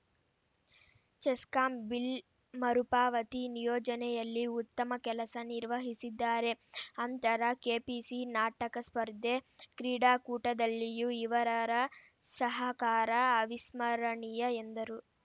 CESCOM bill ಮರುಪಾವತಿ ನಿಯೋಜನೆಯಲ್ಲಿ ಉತ್ತಮ ಕೆಲಸ ನಿರ್ವಹಿಸಿದ್ದಾರೆ ಅಂತರ ಕೆಪಿಸಿ ನಾಟಕ ಸ್ಪರ್ಧೆ ಕ್ರೀಡಾಕೂಟದಲ್ಲಿಯೂ ಇವರರ ಸಹಕಾರ ಅವಿಸ್ಮರಣೀಯ ಎಂದರು